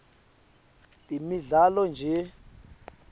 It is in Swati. temidlalo nje